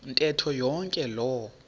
ntetho yonke loo